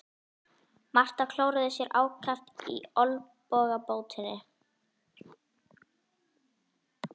Marta klóraði sér ákaft í olnbogabótinni.